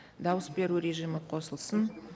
дауыс беру режимі қосылсын